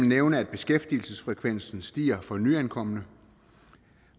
nævne at beskæftigelsesfrekvensen stiger for nyankomne